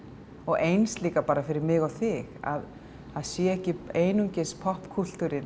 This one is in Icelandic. eins líka fyrir mig og þig að það sé ekki einungis